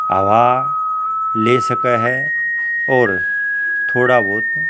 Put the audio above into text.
हवा ले सक्ह ह और थोड़ा ब्होत --